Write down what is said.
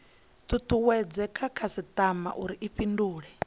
tutuwedze khasitama uri i fhindule